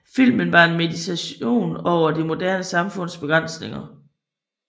Filmen var en meditation over det moderne samfunds begrænsninger